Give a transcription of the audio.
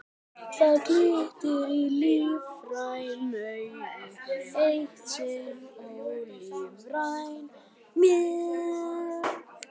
Það glittir í lífræn augu, eitt sinn ólífræn mér.